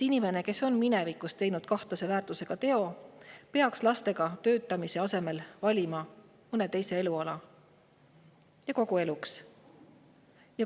Inimene, kes on minevikus teinud kahtlase väärtusega teo, peaks lastega töötamise asemel valima mõne teise eluala, ja kogu eluks.